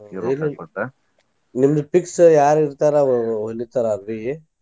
ನಿಮ್ದ fix ಯಾರ ಇರ್ತಾರ ಅವ್ರ ಹೊಲಿತಾರ ಅರ್ವಿ.